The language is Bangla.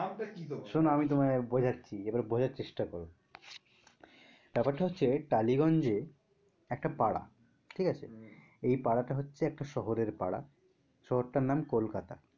নাম টা কি তোমার? শোনো আমি তোমায় বোঝাচ্ছি। এবার বোঝার চেষ্টা করো। ব্যাপার টা হচ্ছে টালিগঞ্জে একটা পাড়া ঠিক আছে, এই পাড়া টা হচ্ছে একটা শহরের পাড়া। শহর তার নাম কলকাতা।